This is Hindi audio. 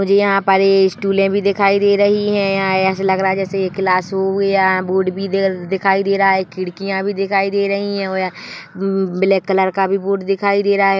कुछ यहाँ पर स्टूले भी दिखाई दे रही है यहाँ ऐसा लग रहा है जैसे क्लास हुई है बोर्ड भी दिखाई दे रहा है खिड़कियां भी दिखाई दे रही है और यहाँ ब ब ब्लैक कलर का भी बोर्ड दिखाई दे रहा है।